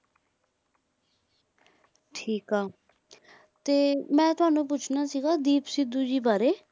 ਠੀਕ ਆ ਤੇ ਮੈਂ ਤੁਹਾਨੂੰ ਪੁੱਛਣਾ ਸੀਗਾ ਦੀਪ ਸਿੱਧੂ ਜੀ ਬਾਰੇ।